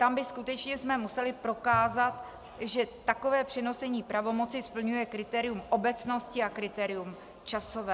Tam bychom skutečně museli prokázat, že takové přenesení pravomoci splňuje kritérium obecnosti a kritérium časové.